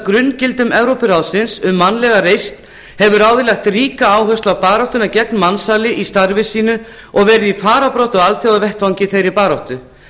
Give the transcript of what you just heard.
grunngildum evrópuráðsins um mannlega reisn hefur ráðið lagt ríka áherslu á baráttuna gegn mansali í starfi sínu og verið í fararbroddi á alþjóðavettvangi í þeirri baráttu